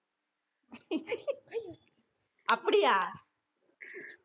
அப்டியா